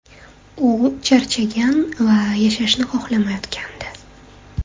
U charchagan va yashashni xohlamayotgandi”.